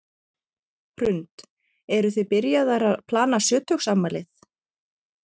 Hrund: Eruð þið byrjaðar að plana sjötugsafmælið?